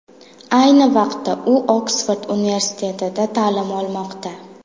Ayni vaqtda u Oksford universitetida ta’lim olmoqda.